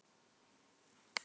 Allt er í Guðs hendi.